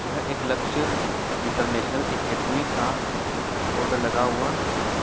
यह एक Lakshya international academy का बोर्ड लगा हुवा है ।